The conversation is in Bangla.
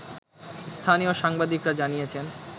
স্থানীয় সাংবাদিকরা জানিয়েছেন